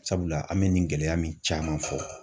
Sabula, an bɛ nin gɛlɛya min caman fɔ.